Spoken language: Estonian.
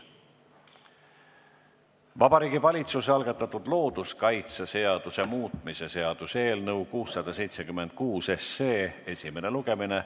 Vabariigi Valitsuse algatatud looduskaitseseaduse muutmise seaduse eelnõu 676 esimene lugemine.